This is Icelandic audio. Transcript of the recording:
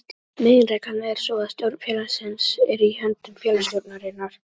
Meginreglan er sú að stjórn félagsins er í höndum félagsstjórnarinnar.